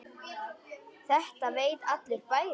Þetta veit allur bærinn!